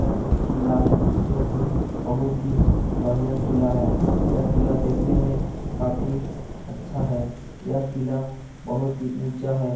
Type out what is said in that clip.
यह एक किला है जो कि बहुत ही बढ़ियां किला है। यह किला देखने में काफी अच्छा है। यह किला बहुत ही ऊँचा है।